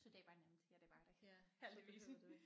Så det var nemt ja det var det heldigvis